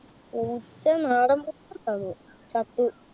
പൂച്ച നാടൻ പൂച്ച ഉണ്ടായിരുന്നു. ചത്തു.